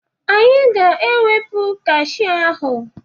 Anyị ga-ewepụ kashụ ahụ.